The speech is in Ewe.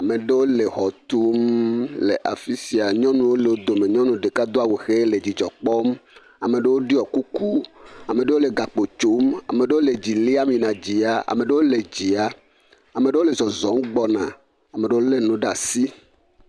Ame ɖewo le xɔ tum le afi sia, nyɔnuwo le wo dome, nyɔnu ɖeka ɖo awu ʋe le dzidzɔ kpɔm, ame ɖewo ɖɔ kuku, ame ɖewo le gakpo tsom, ame ɖewo le dzi liam yina dzia, ame ɖewo le zɔzɔm gbɔna, ame ɖewo lé nu ɖe asi.